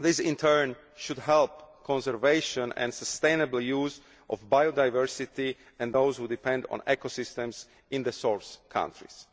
This in turn should help the conservation and sustainable use of biodiversity and those who depend on ecosystems in the source countries.